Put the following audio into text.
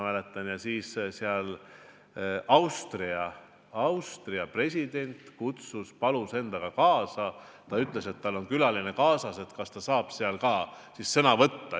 Austria president ütles seal, et ta palus endaga kaasa ühe inimese ja kas ehk see inimene saab ka sõna võtta.